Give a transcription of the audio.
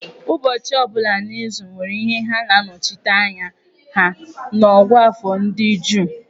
Ụbọchị ọ bụla n'izu nwere ihe ha na-anọchite anya ha n'ọ̀gụ́àfọ̀ ndị Juu.